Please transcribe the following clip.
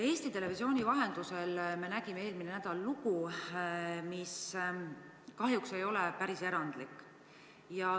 Eesti Televisiooni vahendusel nägime eelmisel nädalal lugu, mis kahjuks ei ole päris erandlik.